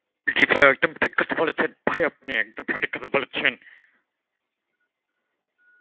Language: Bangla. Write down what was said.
জি ভাই একদম ঠিক কথা বলেছেন, ভাই আপনে একদম সঠিক কথা বলেছেন.